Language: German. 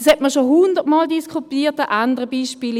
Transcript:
Das hat man schon hundert Mal diskutiert an anderen Beispielen: